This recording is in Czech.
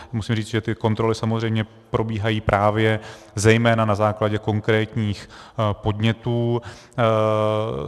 Musím říct, že ty kontroly samozřejmě probíhají právě zejména na základě konkrétních podnětů.